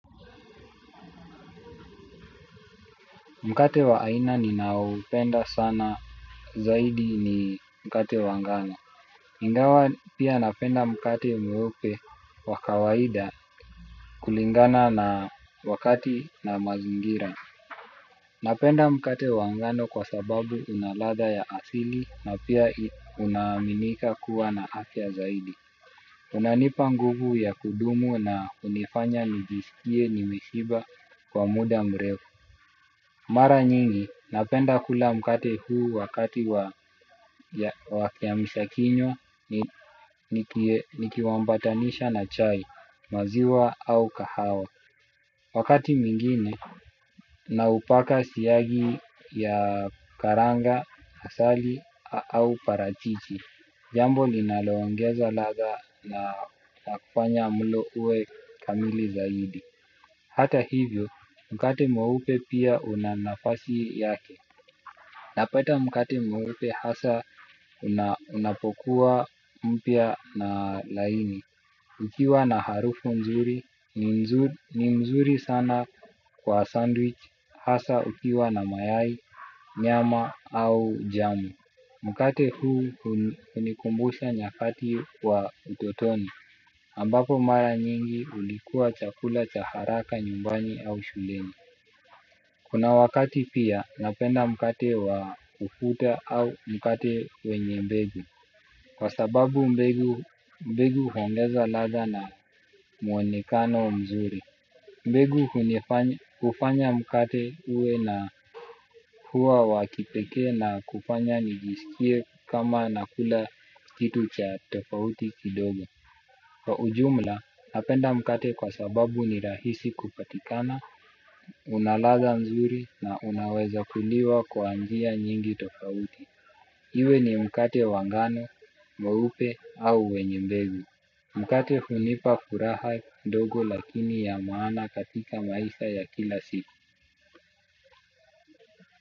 Mkate wa aina ninaoupenda sana zaidi ni mkate wangano. Ingawa pia napenda mkate mweupe wakawaida kulingana na wakati na mazingira. Napenda mkate wangano kwa sababu unaladha ya asili na pia unaaminika kuwa na afya zaidi. Unanipa nguvu ya kudumu na unifanya nijiskie ni meshiba kwa muda mrefu. Mara nyingi, napenda kula mkate huu wakati wakiamsha kinywa nikiuambatanisha na chai, maziwa au kahawa. Wakati mwingine, naupaka siyagi ya karanga, asali au parachichi. Jambo linaloongeza ladha na kufanya mlo uwe kamili zaidi. Hata hivyo, mkate mweupe pia unanafasi yake. Napata mkate mweupe hasa unapokuwa mpia na laini. Ukiwa na harufu nzuri ni mzuri sana kwa sandwich hasa ukiwa na mayai, nyama au jamu. Mkate huu unikumbusha nyakati wa utotoni ambapo mara nyingi ulikuwa chakula chaharaka nyumbani au shuleni. Kuna wakati pia napenda mkate wa kufuta au mkate wenye mbegu. Kwa sababu mbegu mbegu huongeza ladha na mwonekano mzuri. Mbegu unifanya hufanya mkate uwe na kuwa wakipekee na kufanya nijiskie kama nakula kitu cha tofauti kidogo. Kwa ujumla, napenda mkate kwa sababu ni rahisi kupatikana, unaladha nzuri na unaweza kuliwa kwa njia nyingi tofauti. Iwe ni mkate wangano, mweupe au wenyembegu. Mkate hunipa furaha ndogo lakini ya maana katika maisha ya kila siku.